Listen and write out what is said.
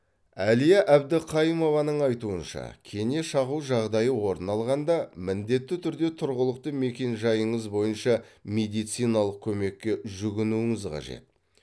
әлия әбдіқайымованың айтуынша кене шағу жағдайы орын алғанда міндетті түрде тұрғылықты мекен жайыңыз бойынша медициналық көмекке жүгінуіңіз қажет